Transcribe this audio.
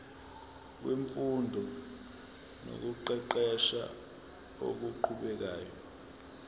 wemfundo nokuqeqesha okuqhubekayo